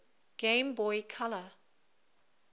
game boy color